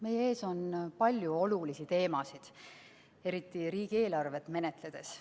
Meie ees on palju olulisi teemasid, eriti riigieelarvet menetledes.